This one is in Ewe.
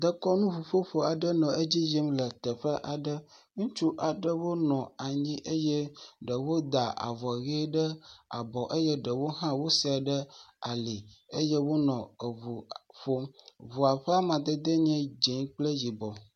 Dekɔnuƒuƒoƒo aɖe nɔ edzi yim le teƒe aɖe. Ŋutsu aɖewo nɔ anyi eye ɖewo da avɔʋe ɖe abɔ eye ɖewo hã wosɛɛ ɖe ali eye wonɔ eŋu ƒom. Ŋua ƒe amadede enye dze kple yibɔ.